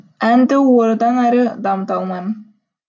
әнді одан әрі дамыта алмаймын